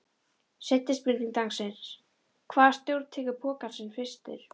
Seinni spurning dagsins: Hvaða stjóri tekur pokann sinn fyrstur?